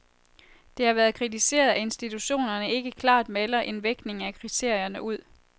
Det har været kritiseret, at institutionerne ikke klart melder en vægtning af kriterierne ud.